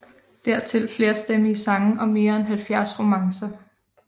Dertil flerstemmige sange og mere end 70 romancer